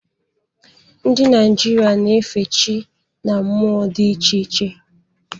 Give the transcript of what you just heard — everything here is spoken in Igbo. Ndị Naịjirịa na-efe chi na mmụọ dị iche iche.